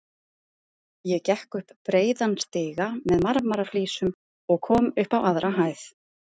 Ég gekk upp breiðan stiga með marmaraflísum og kom upp á aðra hæð.